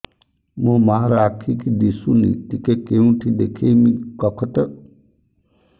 ମୋ ମା ର ଆଖି କି ଦିସୁନି ଟିକେ କେଉଁଠି ଦେଖେଇମି କଖତ